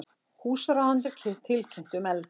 Húsráðendur tilkynntu um eldinn